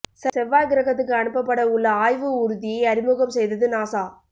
செவ்வாய் கிரகத்துக்கு அனுப்பப்பட உள்ள ஆய்வு ஊர்தியை அறிமுகம் செய்தது நாசா